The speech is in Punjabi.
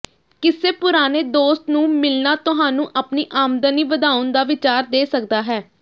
ਕਿਸੇ ਪੁਰਾਣੇ ਦੋਸਤ ਨੂੰ ਮਿਲਣਾ ਤੁਹਾਨੂੰ ਆਪਣੀ ਆਮਦਨੀ ਵਧਾਉਣ ਦਾ ਵਿਚਾਰ ਦੇ ਸਕਦਾ ਹੈ